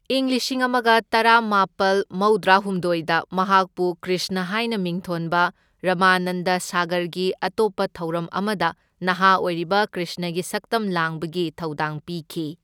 ꯢꯪ ꯂꯤꯁꯤꯡ ꯑꯃꯒ ꯇꯔꯥꯃꯥꯄꯜ ꯃꯧꯗ꯭ꯔꯥꯍꯨꯝꯗꯣꯢꯗ ꯃꯍꯥꯛꯄꯨ ꯀ꯭ꯔꯤꯁꯅ ꯍꯥꯏꯅ ꯃꯤꯡꯊꯣꯟꯕ ꯔꯥꯃꯥꯅꯟꯗ ꯁꯥꯒꯔꯒꯤ ꯑꯇꯣꯞꯄ ꯊꯧꯔꯝ ꯑꯃꯗ ꯅꯍꯥ ꯑꯣꯏꯔꯤꯕ ꯀ꯭ꯔꯤꯁꯅꯒꯤ ꯁꯛꯇꯝ ꯂꯥꯡꯕꯒꯤ ꯊꯧꯗꯥꯡ ꯄꯤꯈꯤ꯫